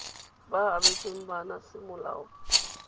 ba abetsweng bana semolao kgotsa